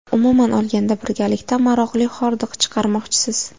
Umuman olganda, birgalikda maroqli hordiq chiqarmoqchisiz.